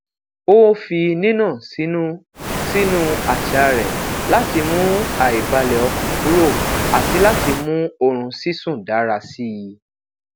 ó fi nina sinu sínú aṣa rẹ láti mu aibalẹọkan kúrò àti láti mú oorun sisun dára síi